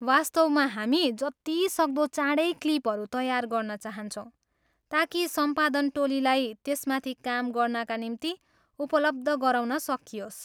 वास्तवमा हामी जतिसक्दो चाँडै क्लिपहरू तयार गर्न चाहन्छौँ ताकि सम्पादन टोलीलाई त्यसमाथि काम गर्नाका निम्ति उपलब्ध गराउन सकियोस्।